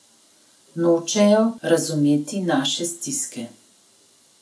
Nočejo razumeti naše stiske.